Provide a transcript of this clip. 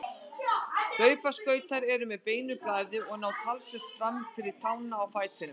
Hlaupaskautar eru með beinu blaði og ná talsvert fram fyrir tána á fætinum.